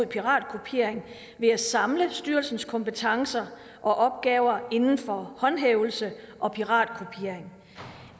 piratkopiering ved at samle styrelsens kompetencer og opgaver inden for håndhævelse og piratkopiering